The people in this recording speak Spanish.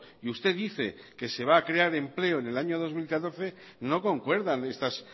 y usted dice que se va a crear empleo en el año dos mil catorce no concuerdan estas